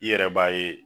I yɛrɛ b'a ye